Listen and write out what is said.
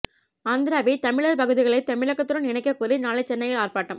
ஆந்திராவில் தமிழர் பகுதிகளை தமிழகத்துடன் இணைக்கக் கோரி நாளை சென்னையில் ஆர்ப்பாட்டம்